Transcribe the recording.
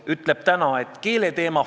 16. oktoobril me jätkasime arutelu samal teemal.